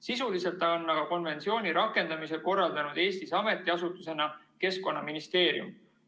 Sisuliselt on aga konventsiooni rakendamise korraldanud Eestis ametiasutusena Keskkonnaministeerium.